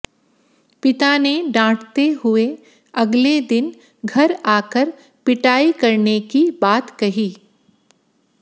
पिता ने डांटते हुए अगले दिन घर आकर पिटाई करने की बात कही